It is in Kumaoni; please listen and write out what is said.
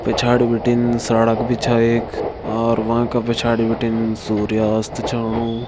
पिछाड़ी बिटिन सड़क भी छा एक और वांका पिछाड़ी बिटिन सूर्यास्त छ होणु।